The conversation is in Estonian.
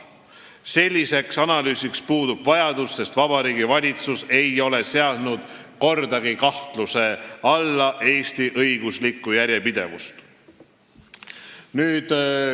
" Selliseks analüüsiks puudub vajadus, sest Vabariigi Valitsus ei ole kordagi seadnud kahtluse alla Eesti õiguslikku järjepidevust.